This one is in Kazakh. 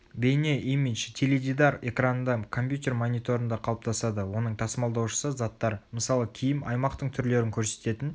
бейне имидж теледидар экранында компьютер мониторында қалыптасады оның тасымалдаушысы заттар мысалы киім аймақтың түрлерін көрсететін